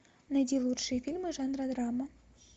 найди лучшие фильмы жанра драма